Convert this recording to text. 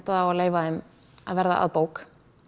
á að leyfa þeim að verða að bók